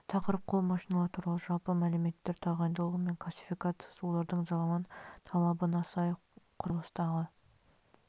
тақырып қол машиналары туралы жалпы мәліметтер тағайындалуы мен классификациясы олардың заман талабына сай құрылыстағы